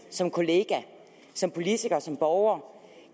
som kollega som politiker som borger